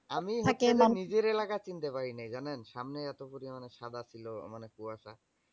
নিজের এলাকা চিনতে পারিনি জানেন? সামনে এতো পরিমানে সাদা ছিল মানে কুয়াশা।